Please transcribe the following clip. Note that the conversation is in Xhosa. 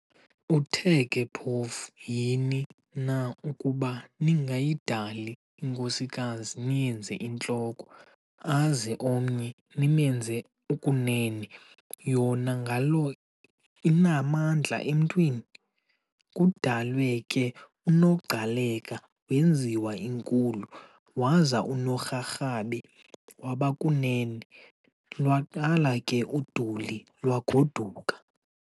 Uthe ke phofu yhini na ukuba ningayidali inkosikazi niyenze "intloko" aze omnye nimenze "ukunene" yona ngalo inamandla emntwini? Kudalwe ke unoGcaleka wenziwa inkulu, Waza unoRharhabe waba kunene, lwaqala ke uduli lwagoduka.